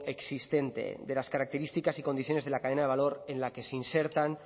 existente de las características y condiciones de la cadena de valor en la que se insertan